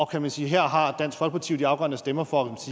kan sige at her har dansk folkeparti de afgørende stemmer for